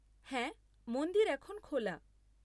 হ্যাঁ, মন্দির এখন খোলা।